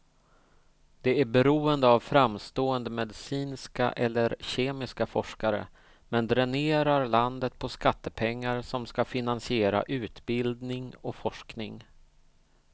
Det är beroende av framstående medicinska eller kemiska forskare, men dränerar landet på skattepengar som ska finansiera utbildning och forskning.